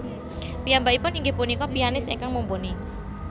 Piyambakipun inggih punika pianis ingkang mumpuni